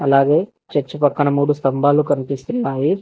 అలాగే చర్చ్ పక్కన మూడు స్తంభాలు కనిపిస్తున్నాయి.